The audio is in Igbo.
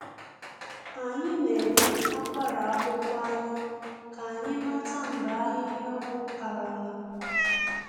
Anyị na-ele akwara akwụkwọ anya ka anyị mata mgbe ahịhịa ọgwụ karala.